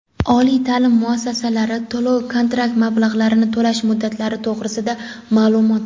Oliy taʼlim muassasalari to‘lov-kontrakt mablag‘larini to‘lash muddatlari to‘g‘risida maʼlumot.